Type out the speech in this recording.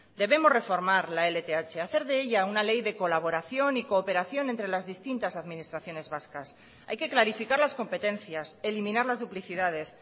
debemos reformar la lth hacer de ella una ley de colaboración y cooperación entre las distintas administraciones vascas hay que clarificar las competencias eliminar las duplicidades